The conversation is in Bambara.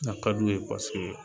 A ka d'u ye